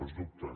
els dubtes